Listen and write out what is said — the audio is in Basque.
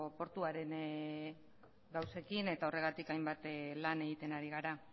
portuaren gauzekin eta horregatik hainbat lan egiten ari gara